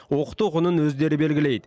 оқыту құнын өздері белгілейді